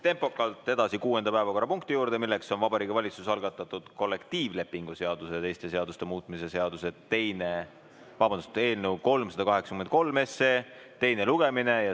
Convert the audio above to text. Tempokalt edasi, kuuenda päevakorrapunkti juurde: Vabariigi Valitsuse algatatud kollektiivlepingu seaduse ja teiste seaduste muutmise seaduse eelnõu 383 teine lugemine.